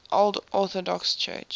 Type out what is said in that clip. old orthodox church